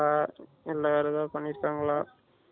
ஆ என்ன வேற எதும் பண்ணிருக்கங்களா